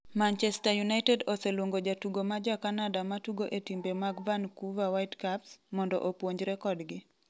Manchester United oseluongo jatugo ma ja Canada ma tugo e timbe mag vancouver Whitecaps, mondo opuonjre kodgi.